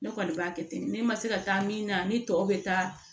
Ne kɔni b'a kɛ ten de ne ma se ka taa min na ni tɔw bɛ taa